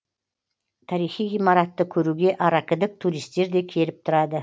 тарихи ғимаратты көруге аракідік туристер де келіп тұрады